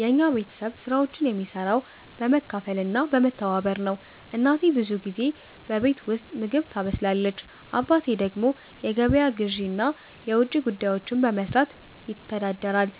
የኛ ቤተሰብ ስራዎችን የሚሰራው በመካፈል እና በመተባበር ነው። እናቴ ብዙ ጊዜ በቤት ውስጥ ምግብ ታበስላለች። አባቴ ደግሞ የገበያ ግዢ እና የውጭ ጉዳዮችን በመስራት ይተዳደራል።